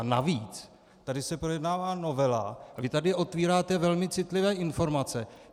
A navíc, tady se projednává novela a vy tady otvíráte velmi citlivé informace.